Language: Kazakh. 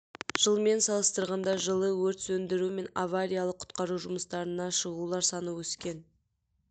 жылмен салыстырғанда жылы өрт сөндіру мен авариялық құтқару жұмыстарына шығулар саны өсткен